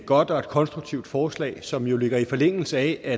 godt og konstruktivt forslag som jo ligger i forlængelse af at